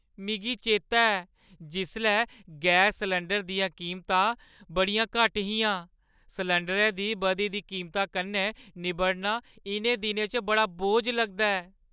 मिगी चेतै ऐ जिसलै गैस सलैंडरै दियां कीमतां बड़ियां घट्ट हियां। सलैंडरै दी बधी दी कीमता कन्नै निब्बड़ना इʼनें दिनें च इक बोझ लगदा ऐ।